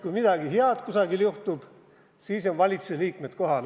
Kui midagi head kuskil juhtub, siis on valitsuse liikmed kohal.